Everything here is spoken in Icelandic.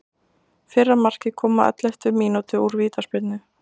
Fyrra markið kom á elleftu mínútu úr vítaspyrnu.